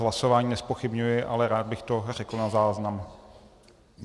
Hlasování nezpochybňuji, ale rád bych to řekl na záznam.